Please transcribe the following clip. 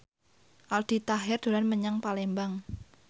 Aldi Taher dolan menyang Palembang